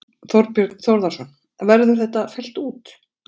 Þorbjörn Þórðarson: Verður þetta fellt út?